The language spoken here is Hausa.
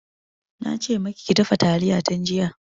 Na ce maki ki dafa talliya tun jiya.